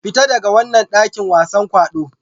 Fita daga wannan dakin wasan kwaɗo!